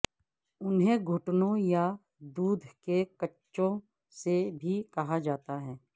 انہیں گھٹنوں یا دودھ کے کچوں سے بھی کہا جاتا ہے